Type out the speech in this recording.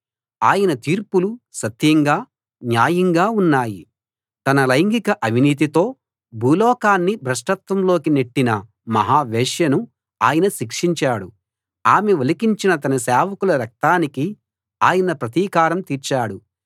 ఆయన తీర్పులు సత్యంగా న్యాయంగా ఉన్నాయి తన లైంగిక అవినీతితో భూలోకాన్ని భ్రష్టత్వంలోకి నెట్టిన మహా వేశ్యను ఆయన శిక్షించాడు ఆమె ఒలికించిన తన సేవకుల రక్తానికి ఆయన ప్రతీకారం తీర్చాడు